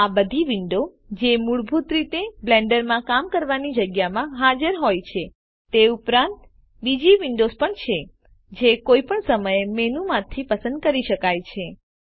આ બધી વિન્ડો જે મૂળભૂત રીતે બ્લેન્ડરમાં કામ કરવાની જગ્યા માં હાજર હોય છે તે ઉપરાંત બીજી વિન્ડોવ્સ પણ છે જે કોઈપણ સમયે મેનુમાંથી પસંદ કરી શકાય છે